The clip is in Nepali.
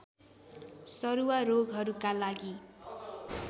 सरुवा रोगहरूका लागि